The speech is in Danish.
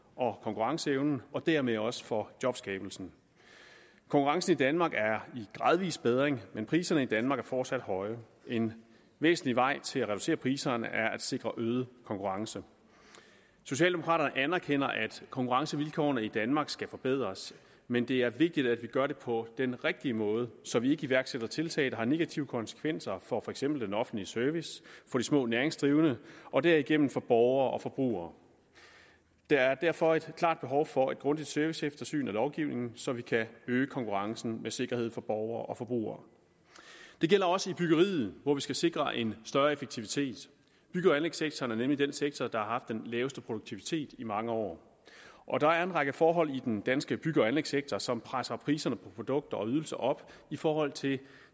og konkurrenceevnen og dermed også for jobskabelsen konkurrencen i danmark er i gradvis bedring men priserne i danmark er fortsat høje en væsentlig vej til at reducere priserne er at sikre øget konkurrence socialdemokraterne anerkender at konkurrencevilkårene i danmark skal forbedres men det er vigtigt at vi gør det på den rigtige måde så vi ikke iværksætter tiltag der har negative konsekvenser for for eksempel den offentlige service for de små næringsdrivende og derigennem for borgere og forbrugere der er derfor et klart behov for et grundigt serviceeftersyn af lovgivningen så vi kan øge konkurrencen med sikkerhed for borgere og forbrugere det gælder også i byggeriet hvor vi skal sikre en større effektivitet bygge og anlægssektoren er nemlig den sektor der har haft den laveste produktivitet i mange år og der er en række forhold i den danske bygge og anlægssektor som presser priserne på produkter og ydelser op i forhold til